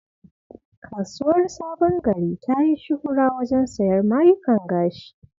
Kasuwar Sabon Gari ta yi shuhura wajen sayar mayukan gashi.